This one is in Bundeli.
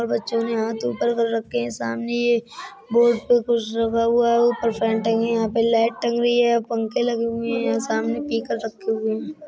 और बच्चों ने हाथ ऊपर कर रखे हैं सामने एक बोर्ड पर कुछ लगा हुआ है ऊपर फैन टंगे है यहां पे लाइट टंगी है पंखे लगे हुए हैं यहां सामने रखे हुए हैं